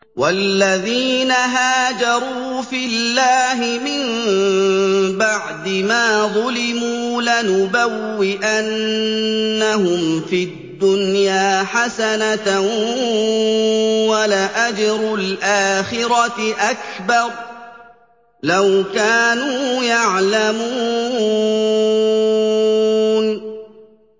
وَالَّذِينَ هَاجَرُوا فِي اللَّهِ مِن بَعْدِ مَا ظُلِمُوا لَنُبَوِّئَنَّهُمْ فِي الدُّنْيَا حَسَنَةً ۖ وَلَأَجْرُ الْآخِرَةِ أَكْبَرُ ۚ لَوْ كَانُوا يَعْلَمُونَ